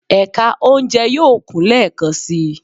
Ẹka ounjẹ yoo kun lẹẹkansi